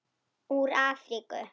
Úr Afríku!